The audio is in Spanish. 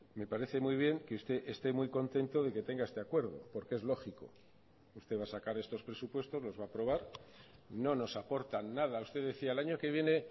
me parece muy bien que usted esté muy contento de que tenga este acuerdo porque es lógico usted va a sacar estos presupuestos los va a aprobar no nos aportan nada usted decía el año que viene